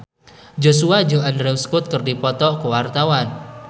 Joshua jeung Andrew Scott keur dipoto ku wartawan